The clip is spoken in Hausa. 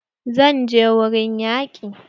Zan je wurin yaƙin